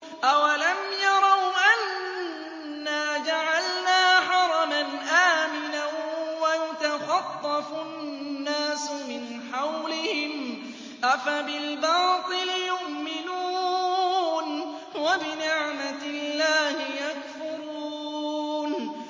أَوَلَمْ يَرَوْا أَنَّا جَعَلْنَا حَرَمًا آمِنًا وَيُتَخَطَّفُ النَّاسُ مِنْ حَوْلِهِمْ ۚ أَفَبِالْبَاطِلِ يُؤْمِنُونَ وَبِنِعْمَةِ اللَّهِ يَكْفُرُونَ